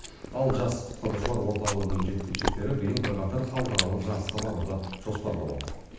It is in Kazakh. ал жас құтқарушылар орталығының жеткіншектері биыл бірқатар халықаралық жарысқа баруды жоспарлап отыр